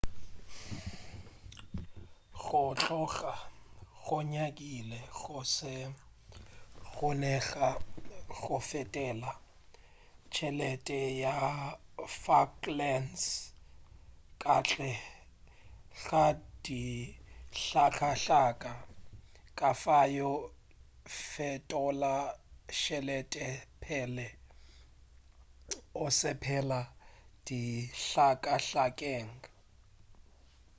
go tloga go nyakile go se kgonege go fetola tšhelete ya falklands ka ntle ga dihlakahlaka kafao fetola tšhelete pele o sepela dihlakahlakeng